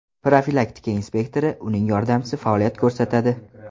Profilaktika inspektori, uning yordamchisi faoliyat ko‘rsatadi.